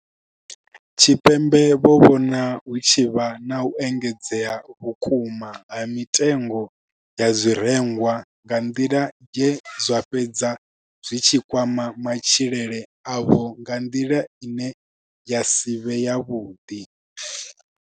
Tshipembe vho vhona hu tshi vha na u engedzea vhukuma ha mitengo ya zwirengwa nga nḓila ye zwa fhedza zwi tshi kwama matshilele avho nga nḓila ine ya si vhe yavhuḓi.